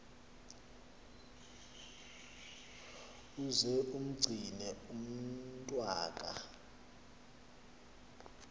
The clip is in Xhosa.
uze umgcine umntwaka